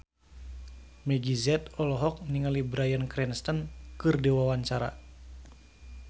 Meggie Z olohok ningali Bryan Cranston keur diwawancara